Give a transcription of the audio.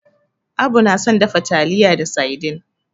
Abu na son dafa taliya da saidin.